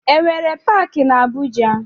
E nwere paaki na Abuja?